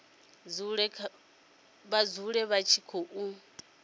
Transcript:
dzule vha tshi khou i